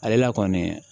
Ale la kɔni